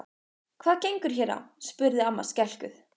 Hvað gengur hér á? spurði amma skelkuð.